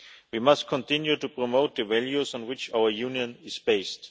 We must continue to promote the values on which our Union is based.